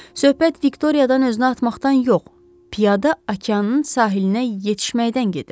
Söhbət Viktoriyadan özünü atmaqdan yox, piyada okeanın sahilinə yetişməkdən gedir.